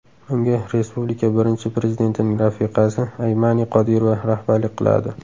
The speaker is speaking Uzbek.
Unga respublika birinchi prezidentining rafiqasi Aymani Qodirova rahbarlik qiladi.